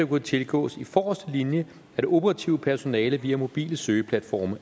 kunne tilgås i forreste linje af det operative personale via mobile søgeplatforme